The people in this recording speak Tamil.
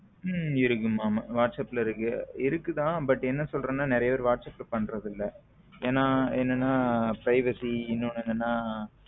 இருக்குமா whatsapp இருக்கு இருக்குது ஆனா but என்ன சொல்றதுன்னா நிறைய பேரு whatsapp பண்றது இல்ல ஏன்னா என்னன்னா privacy இன்னொன்னு என்னன்னா.